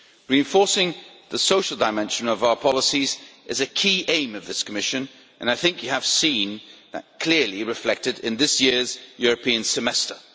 Reinforcing the social dimension of our policies is a key aim of this Commission and I think you have seen that clearly reflected in this year's European Semester.